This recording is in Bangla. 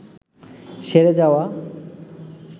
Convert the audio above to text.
সেরে যাওয়া